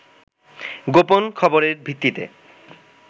গোপন খবরের ভিত্তিতে